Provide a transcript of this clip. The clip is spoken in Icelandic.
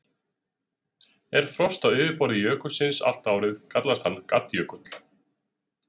Ef frost er á yfirborði jökulsins allt árið kallast hann gaddjökull.